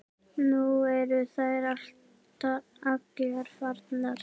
Nú eru þær allar farnar.